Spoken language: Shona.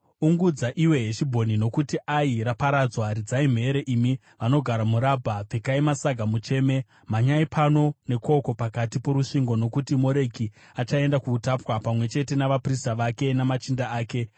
“Ungudza, iwe Heshibhoni, nokuti Ai raparadzwa! Ridzai mhere, imi vanogara muRabha! Pfekai masaga mucheme, mhanyai pano nekoko pakati porusvingo, nokuti Moreki achaenda kuutapwa, pamwe chete navaprista vake namachinda ake.